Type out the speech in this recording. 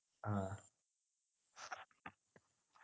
ആഹ്